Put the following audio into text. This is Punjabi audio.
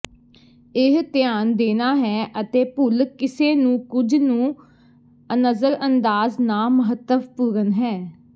ਇਹ ਧਿਆਨ ਦੇਣਾ ਹੈ ਅਤੇ ਭੁੱਲ ਕਿਸੇ ਨੂੰ ਕੁਝ ਨੂੰ ਨਜ਼ਰਅੰਦਾਜ਼ ਨਾ ਮਹੱਤਵਪੂਰਨ ਹੈ